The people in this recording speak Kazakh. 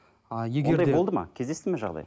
кездесті ме жағдай